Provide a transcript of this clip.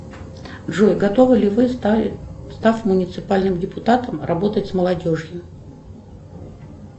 джой готовы ли вы став муниципальным депутатом работать с молодежью